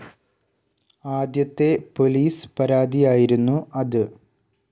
ആദ്യത്തെ പൊലീസ് പരാതിയായിരുന്നു അത്.